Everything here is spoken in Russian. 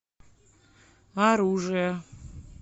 оружие